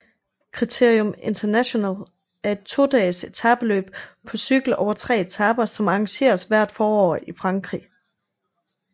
Critérium International er et todages etapeløb på cykel over tre etaper som arrangeres hvert forår i Frankrig